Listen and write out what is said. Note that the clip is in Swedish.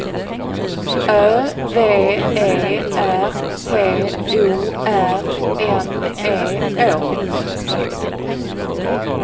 Ö V E R T O R N E Å